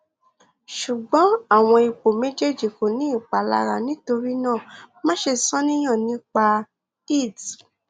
ṣugbọn awọn ipo mejeeji ko ni ipalara nitorinaa maṣe ṣàníyàn nipa it